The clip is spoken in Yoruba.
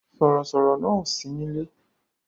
Sọ̀rọ̀ sọ̀rọ̀ náà ò sí nílé